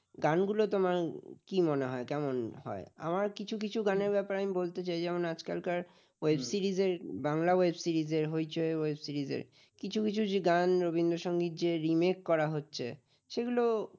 গানগুলো তোমার কি মনে হয় কেমন হয় আমার কিছু কিছু গানের ব্যাপারে আমি বলতে চাই যেমন আজকালকার web series র বাংলা web series র হইচই web series র কিছু কিছু যে গান রবীন্দ্র সংগীত যে remake করা হচ্ছে সেগুলো